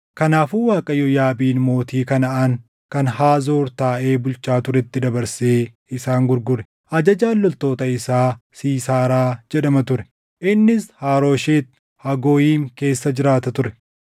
Kanaafuu Waaqayyo Yaabiin mootii Kanaʼaan kan Haazoor taaʼee bulchaa turetti dabarsee isaan gurgure. Ajajaan loltoota isaa Siisaaraa jedhama ture; innis Harooshet Hagooyim keessa jiraata ture.